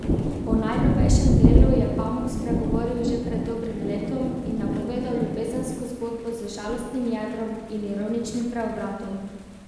O najnovejšem delu je Pamuk spregovoril že pred dobrim letom in napovedal ljubezensko zgodbo z žalostnim jedrom in ironičnim preobratom.